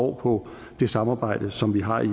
på det samarbejde som vi har i